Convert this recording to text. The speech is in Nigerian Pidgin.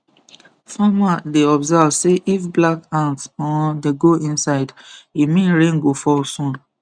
farmer dey observe say if black ant um dey go inside e mean rain go fall soon